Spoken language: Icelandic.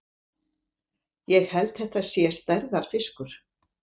Ég held þetta sé stærðarfiskur!